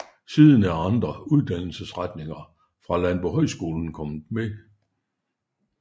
Siden er andre uddannelsesretninger fra Landbohøjskolen kommet med